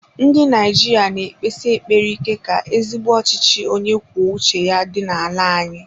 Ndị Naijiria na ekpesi ekpere ike ka ezigbo ọchịchị onye kwuo uche ya dị n'ala anyị.